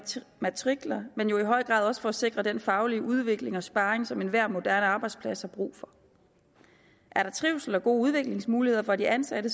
matrikler og jo i høj grad også for at sikre den faglige udvikling og sparring som enhver moderne arbejdsplads har brug for er der trivsel og gode udviklingsmuligheder for de ansatte